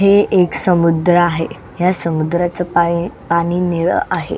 हे एक समुद्र आहे ह्या समुद्राच पा पाणी निळ आहे.